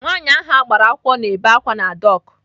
Nwaanyi ahụ agbara akwụkwọ na-ebe àkwá na dọk.